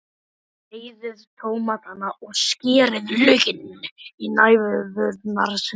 Sneiðið tómatana og skerið laukinn í næfurþunnar sneiðar.